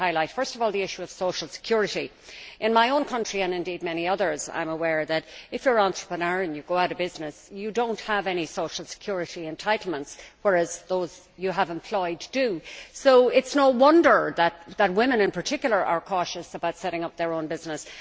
Firstly, the issue of social security in my own country, and indeed many others, I am aware that if you are an entrepreneur and you go out of business, you do not have any social security entitlements, whereas those you have employed do. So it is no wonder that women, in particular, are cautious about setting up their own business.